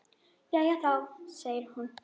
Jæja þá, segir hún.